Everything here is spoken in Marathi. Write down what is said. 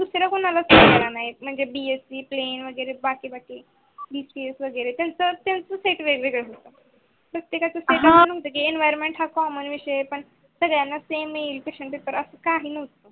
मला सेम म्हणजे वेगेरे बाकी वेगेरे काही नसते ते प्रतेकच सेट वेगळेगळ असते हा सगळ्यान्ना same नसते.